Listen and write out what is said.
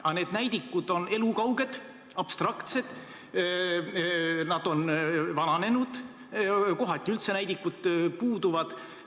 Aga need näidikud on elukauged, abstraktsed, nad on vananenud, kohati üldse näidikud puuduvad.